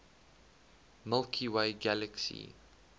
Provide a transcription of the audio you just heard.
milky way galaxy